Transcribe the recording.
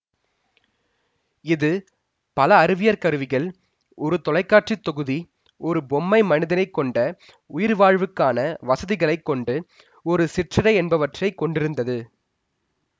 இது பல அறிவியற் கருவிகள் ஒரு தொலை காட்சி தொகுதி ஒரு பொம்மை மனிதனை கொண்ட உயிர் வாழ்வுக்கான வசதிகளை கொண்டு ஒரு சிற்றறை என்பவற்றை கொண்டிருந்தது